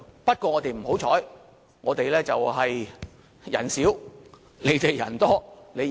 不過，我們較不幸，我們人少，你們人多，一定贏。